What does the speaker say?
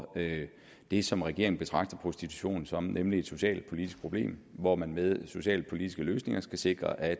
det som regeringen betragter prostitution som nemlig et socialpolitisk problem hvor man med socialpolitiske løsninger skal sikre at